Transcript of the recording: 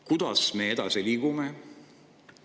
Kuidas me edasi liigume?